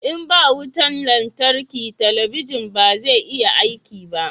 in ba wutan lantarki talabijin ba zai iya aiki ba